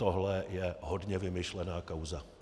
Tohle je hodně vymyšlená kauza.